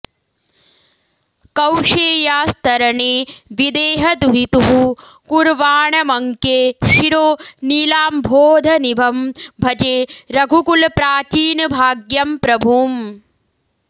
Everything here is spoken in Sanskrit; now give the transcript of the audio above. कौशेयास्तरणे विदेहदुहितुः कुर्वाणमङ्के शिरो नीलाम्भोदनिभं भजे रघुकुलप्राचीनभाग्यं प्रभुम्